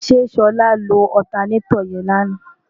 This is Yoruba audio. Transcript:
ṣe ṣọlá lo ọtanetọ̀ yẹn lánàá?